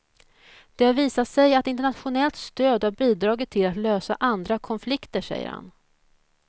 Det har visat sig att internationellt stöd har bidragit till att lösa andra konflikter, säger han.